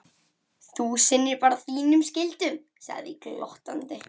Þú sinnir bara þínum skyldum, segði ég þá glottandi.